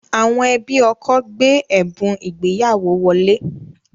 Àwọn ẹbí ọkọ gbé ẹ̀bùn ìgbéyàwó wọlé